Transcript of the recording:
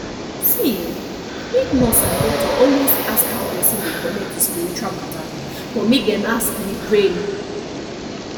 see[um]make nurse and doctor always ask how person dey connect with spiritual matter but make dem ask with brain